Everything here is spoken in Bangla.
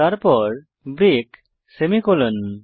তারপর ব্রেক সেমিকোলন